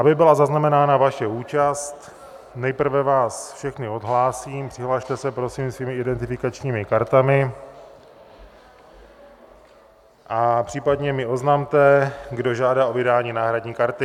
Aby byla zaznamenána vaše účast, nejprve vás všechny odhlásím, přihlaste se prosím svými identifikačními kartami a případně mi oznamte, kdo žádá o vydání náhradní karty.